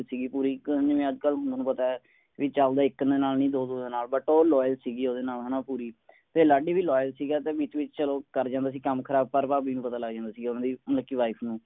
ਸੀਗੀ ਪੂਰੀ ਇੱਕ ਜਿਵੇਂ ਅੱਜ ਕੱਲ ਤੁਹਾਨੂੰ ਪਤਾ ਹੈ ਵੀ ਚੱਲਦਾ ਇੱਕ ਦੇ ਨਾਲ ਨਹੀਂ ਦੋ ਦੋ ਦੇ ਨਾਲ but ਉਹ loyal ਸੀਗੀ ਓਹਦੇ ਨਾਲ ਹੈ ਨਾ ਪੂਰੀ। ਤੇ ਲਾਡੀ ਵੀ Loyal ਸੀਗਾ ਤੇ ਵਿੱਚ ਵਿੱਚ ਚਲੋ ਕਰ ਜਾਂਦਾ ਸੀ ਕੰਮ ਖਰਾਬ ਪਰ ਭਾਭੀ ਨੂੰ ਪਤਾ ਲੱਗ ਜਾਂਦਾ ਸੀ ਉਨ੍ਹਾਂ ਦੀ ਮਤਲਬ ਕਿ wife ਨੂੰ।